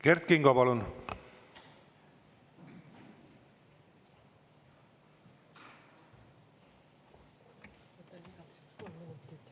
Kert Kingo, palun!